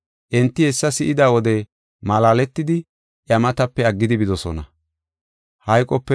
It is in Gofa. Enti hessa si7ida wode malaaletidi iya matape aggidi bidosona.